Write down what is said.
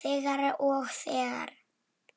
Þegir og þegir.